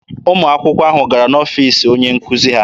Ụmụ akwụkwọ ahụ gara n'ọfiisi onye nkuzi ha.